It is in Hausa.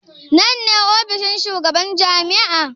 Nan ne ofishin shugaban jami'a?